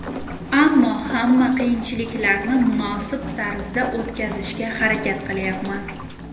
Ammo hamma qiyinchiliklarni munosib tarzda o‘tkazishga harakat qilyapman.